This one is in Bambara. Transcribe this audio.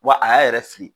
Wa a y'a yɛrɛ fili